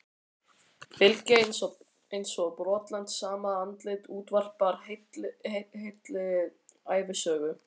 Bylgja eins og brotlent, sama andlit útvarpar heilli ævisögu.